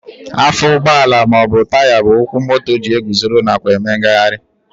Afọ ụgbọala maọbụ Taya bụ ụkwụ moto ji eguzoro nakwa eme ngagharị